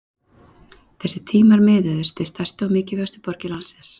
Þessir tímar miðuðust við stærstu og mikilvægustu borgir landsins.